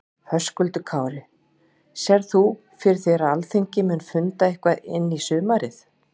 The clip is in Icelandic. Höskuldur Kári: Sérð þú fyrir þér að Alþingi muni funda eitthvað inn í sumarið?